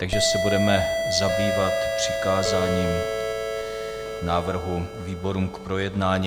Takže se budeme zabývat přikázáním návrhu výborům k projednání.